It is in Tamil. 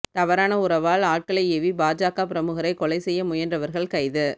தவறான உறவால் ஆட்களை ஏவி பாஜக பிரமுகரை கொலை செய்ய முயன்றவர்கள் கைது